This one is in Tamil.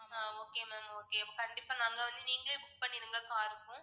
ஆஹ் okay ma'am okay அப்போ கண்டிப்பா நாங்க வந்து நீங்களே book பண்ணிருங்க car க்கும்.